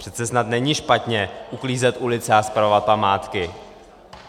Přece snad není špatně uklízet ulice a spravovat památky.